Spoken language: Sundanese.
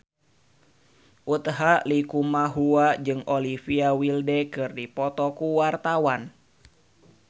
Utha Likumahua jeung Olivia Wilde keur dipoto ku wartawan